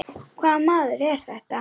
Hvaða maður er þetta?